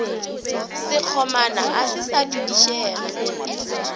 sekgomana a se sa dudišega